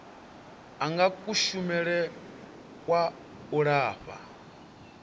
anga kushumele kwa u lafha